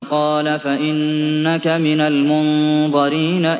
قَالَ فَإِنَّكَ مِنَ الْمُنظَرِينَ